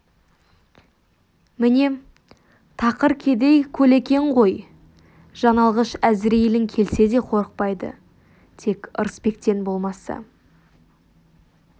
міне тақыр кедей көлекең ғой жан алғыш әзірейілің келсе де қорықпайды тек ырысбектен болмаса деді